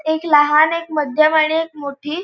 एक लहान एक मध्यम आणि एक मोठी--